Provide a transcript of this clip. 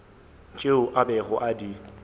tšeo a bego a di